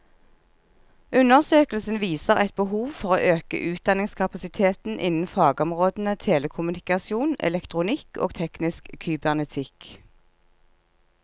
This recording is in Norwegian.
Undersøkelsen viser et behov for å øke utdanningskapasiteten innen fagområdene telekommunikasjon, elektronikk og teknisk kybernetikk.